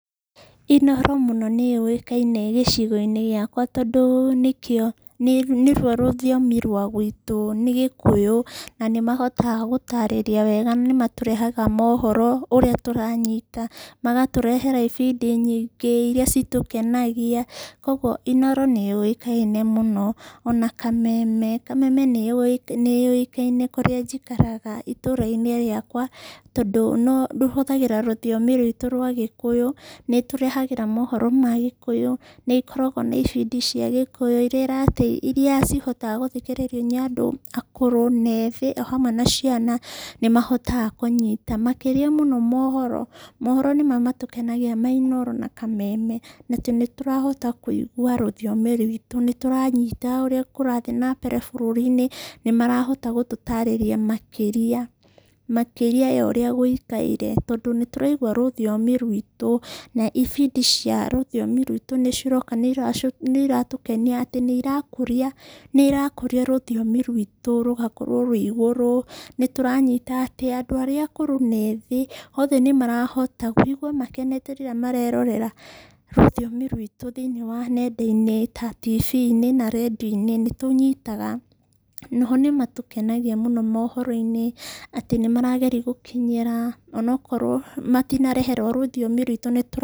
Inooro mũno nĩ yũĩkaine mũno gĩcigo-inĩ gĩakwa tondũ nĩkĩo nĩruo rũthiomi rwa gwitũ. Nĩ gĩkũyũ na nĩ mahotaga gũtaarĩria wega nĩ matũrehagĩra mohoro ũrĩa tũranyita, magatũrehere ibindi nyingĩ irĩa citũkenagia. Kwoguo Inooro nĩ yũĩkaine mũno. Ona Kameme nĩ yũĩkaine kũrĩa njikaraga itũra-ini rĩakwa tondũ no rũhũthagĩra rũthiomi ruitũ rwa gĩkũyũ, nĩ ĩtũrehagĩra mohoro ma gĩkũyũ irĩa cihotaga gũthikĩrĩrio nĩ andũ akũrũ na ethĩ o hamwe na ciana nĩ mahotaga kũnyita. Makĩria mũno mohoro, mohoro nĩmo matũkenagia ma Inooro na Kameme na tondũ nĩ tũrahota kũigwa rũthiomi rwitũ, nĩ tũranyita ũrĩa kũrathiĩ na mbere bũrũri-inĩ, nĩ marahota gũtũtaarĩria makĩria ya ũrĩa gũikaire tondũ nĩ tũraigua rũthiomi rwitũ. Na ibindi cia rũthiomi rwitũ nĩ ciroka nĩ iratũkenia atĩ nĩ irakũria rũthiomi rwitũ rũgakorwo rwĩ igũrũ. Nĩ tũranyita atĩ andũ arĩa akũrũ na ethĩ othe nĩ marahota kũigwa makenete rĩrĩa marerorera rũthiomi rwitũ thĩinĩ wa nenda-inĩ ta TV-inĩ na redio-inĩ, nĩ tũnyitaga. Na o ho nĩ matũkenagia mũno mohoro-inĩ atĩ nĩ marageria gũkinyĩra ona okorwo matinarehe rwa rũthiomi rwitũ nĩ tũra-